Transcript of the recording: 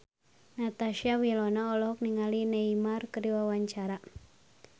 Natasha Wilona olohok ningali Neymar keur diwawancara